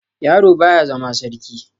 Yaro baya zama sarki.